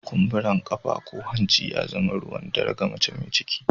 Kumbura ƙafa ko hanci ya zama ruwan dare ga mace mai ciki.